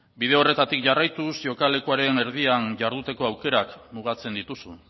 bide horretatik jarraituz jokalekuaren erdian jarduteko aukerak mugatzen dituzu